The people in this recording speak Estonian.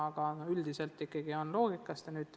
Aga üldiselt ikkagi on vaja lähtuda loogikast.